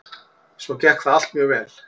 Svo gekk það allt mjög vel.